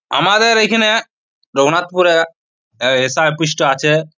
আমাদের এইখানে রঘুনাথপুর -এ এস.আই অফিস -টা আছে।